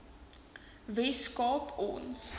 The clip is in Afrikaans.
wes kaap ons